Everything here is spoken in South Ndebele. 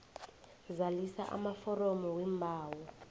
zalisa amaforomo weembawo